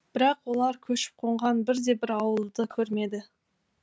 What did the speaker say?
бірақ олар көшіп қонған бірде бір ауылды көрмеді